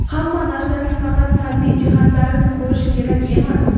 Hamma narsaning faqat salbiy jihatlarini ko‘rish kerak emas.